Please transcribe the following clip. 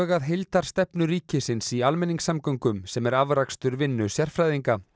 að heildarstefnu ríkisins í almenningssamgöngum sem er afrakstur vinnu sérfræðinga